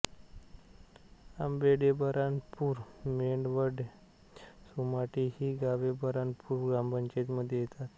आंबेढे बऱ्हाणपूर मेंढवण सोमाटे ही गावे बऱ्हाणपूर ग्रामपंचायतीमध्ये येतात